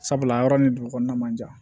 Sabula yɔrɔ ni dugu kɔnɔna man jan